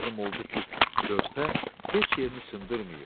Məlum oldu ki, körpə heç yerini sındırmayıb.